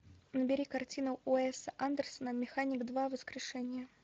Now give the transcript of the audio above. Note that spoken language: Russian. набери картину уэса андерсона механик два воскрешение